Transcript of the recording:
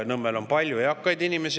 Nõmmel on palju eakaid inimesi.